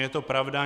Je to pravda.